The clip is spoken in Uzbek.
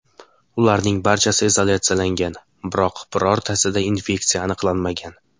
Ularning barchasi izolyatsiyalangan, biroq birortasida infeksiya aniqlanmagan.